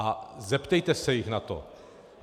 A zeptejte se jich na to.